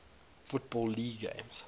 football league games